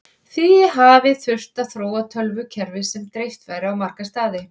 því hafi þurft að þróa tölvukerfi sem dreift væri á marga staði